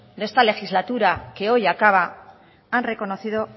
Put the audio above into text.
de esta legislatura que hoy acaba han reconocido